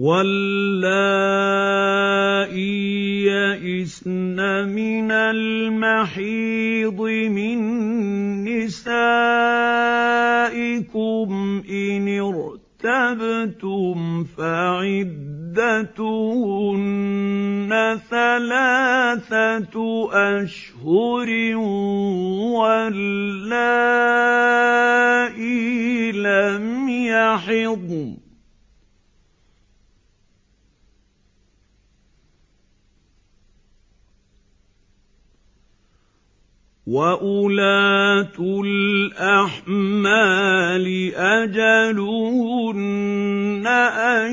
وَاللَّائِي يَئِسْنَ مِنَ الْمَحِيضِ مِن نِّسَائِكُمْ إِنِ ارْتَبْتُمْ فَعِدَّتُهُنَّ ثَلَاثَةُ أَشْهُرٍ وَاللَّائِي لَمْ يَحِضْنَ ۚ وَأُولَاتُ الْأَحْمَالِ أَجَلُهُنَّ أَن